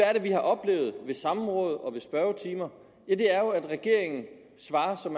er det vi har oplevet ved samråd og i spørgetimer jo det er at regeringen svarer som